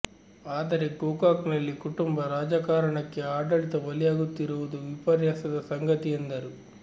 ಆದರೆ ಗೋಕಾಕನಲ್ಲಿ ಕುಟುಂಬ ರಾಜಕಾರಣಕ್ಕೆ ಆಡಳಿತ ಬಲಿಯಾಗುತ್ತಿರುವುದು ವಿಪರ್ಯಾಸದ ಸಂಗತಿ ಎಂದರು